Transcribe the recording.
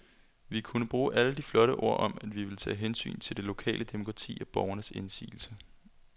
Vi kunne bruge alle de flotte ord om, at vi ville tage hensyn til det lokale demokrati og borgernes indsigelser.